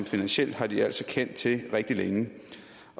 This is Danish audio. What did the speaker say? finansielt har de altså kendt til rigtig længe